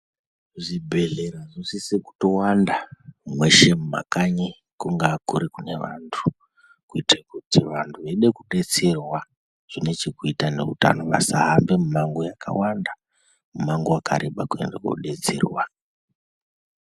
Zvibhedhlera zvinosise kutowanda meshe mumakanyi kungaa kurikuri kunevantu kuitire kuti vantu veide kudetserwa zvinechekuita neutana vasahambe mimango yakawanda mumango wakareba kuende kunodetsera.